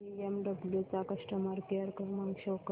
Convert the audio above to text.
BMW चा customer care क्रमांक show कर